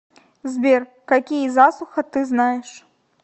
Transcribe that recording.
сбер какие засуха ты знаешь